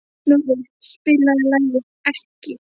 Snorri, spilaðu lagið „Ekki“.